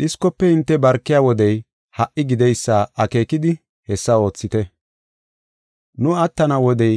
Dhiskofe hinte barkiya wodey ha77i gideysa akeekidi hessa oothite. Nu attana wodey